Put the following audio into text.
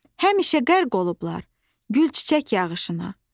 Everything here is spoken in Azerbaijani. həmişə qərq olublar gül-çiçək yağışına.